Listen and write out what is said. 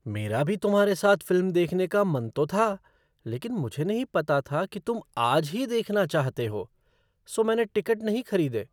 मेरा भी तुम्हारे साथ फ़िल्म देखने का मन तो था लेकिन मुझे नहीं पता था कि तुम आज ही देखना चाहते हो, सो मैंने टिकट नहीं खरीदे।